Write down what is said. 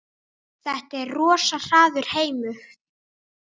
Þetta er rosa harður heimur.